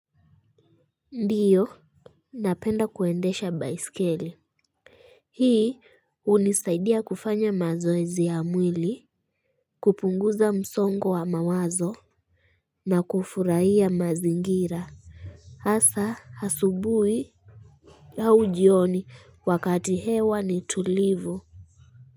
Ndiyo napenda kuendesha baisikeli hii hunisaidia kufanya mazoezi ya mwili kupunguza msongo wa mawazo na kufurahia mazingira hasa asubui au jioni wakati hewa ni tulivu.